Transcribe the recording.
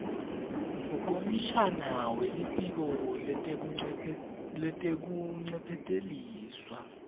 kukomishana welitiko letekuncephetelisa